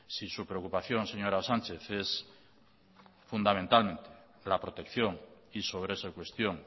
si su preocupación señora sánchez es fundamentalmente la protección y sobre esa cuestión